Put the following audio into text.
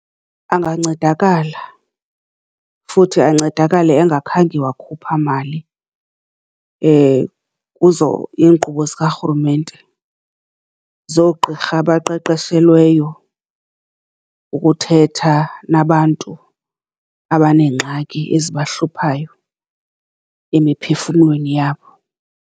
Angancedakala, futhi ancedakale engakhange wakhupha mali kuzo iinkqubo zikarhurumente zoogqirha abaqeqeshelweyo ukuthetha nabantu abaneengxaki ezibahluphayo emiphefumlweni yabo.